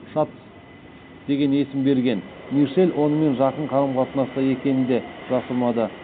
шатц деген есім берген мишель онымен жақын қарым қатынаста екенін де жасырмады